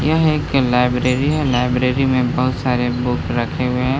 यह एक लाइब्रेरी है लाइब्रेरी में बोहोत सारे बुक्स रखे हुए हैं।